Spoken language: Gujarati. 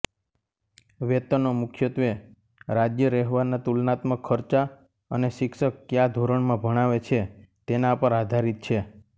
વેતનો મુખ્યત્વે રાજ્યરહેવાના તુલનાત્મક ખર્ચા અને શિક્ષક ક્યા ધોરણમાં ભણાવે છે તેના પર આધારિત છે